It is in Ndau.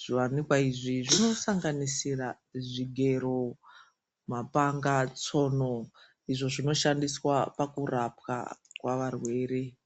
zviwanikwa izvi zvinosanganisira zvigero, mapanga, tsono izvo zvinoshandiswa pakurapwa kwavarwere.